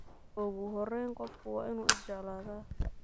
Okuxoreyn qofku waa inu isjecladhe.